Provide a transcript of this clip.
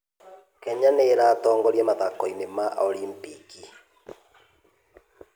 Kenya nĩ ĩratongoria mathako-inĩ ma Olimpiki.